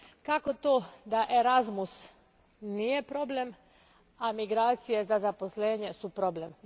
Kako to da Erasmus nije problem, a migracije za zaposlenje su problem?